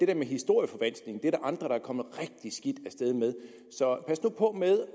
der med historieforvanskning er der andre der er kommet rigtig skidt af sted med så pas nu på med